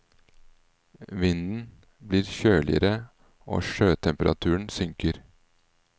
Vinden blir kjøligere og sjøtemperaturen synker.